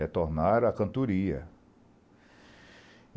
Retornaram à cantoria.